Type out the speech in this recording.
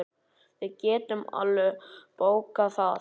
Við getum alveg bókað það.